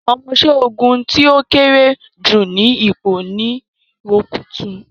Omoṣẹ́ ogun tí ó kéré jù ni ipò ni rukútù